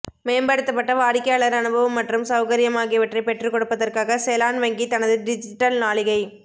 மேம்படுத்தப்பட்ட வாடிக்கையாளர் அனுபவம் மற்றும் சௌகரியம் ஆகியவற்றைப் பெற்றுக்கொடுப்பதற்காக செலான் வங்கி தனது டிஜிட்டல் நாளிகை